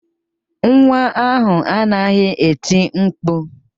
Nwa ahụ anaghị eti mkpu